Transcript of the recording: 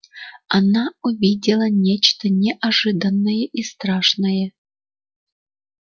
она увидела нечто неожиданное и страшное